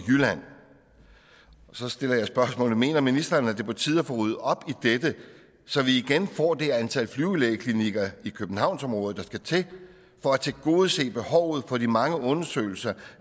så stiller jeg spørgsmålet mener ministeren at det er på tide at få ryddet op i dette så vi igen får det antal flyvelægeklinikker i københavnsområdet der skal til for at tilgodese behovet for de mange undersøgelser